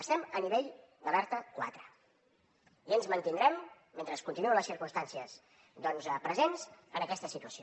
estem a nivell d’alerta quatre i ens mantindrem mentre continuïn les circumstàncies presents en aquesta situació